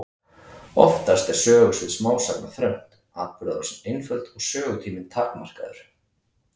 Oftast er sögusvið smásagna þröngt, atburðarásin einföld og sögutíminn takmarkaður.